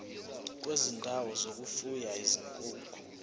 kwezindawo zokufuya izinkukhu